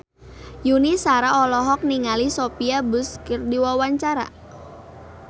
Yuni Shara olohok ningali Sophia Bush keur diwawancara